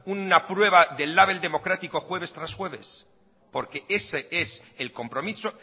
una prueba del label democrático jueves tras jueves porque ese es el compromiso